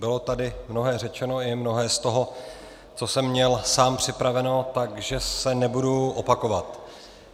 Bylo tady mnohé řečeno, i mnohé z toho, co jsem měl sám připraveno, takže se nebudu opakovat.